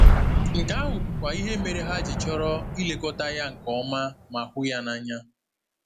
Nke ahụ bụkwa ihe mere ha ji chọrọ ilekọta ya nke ọma ma hụ ya n’anya.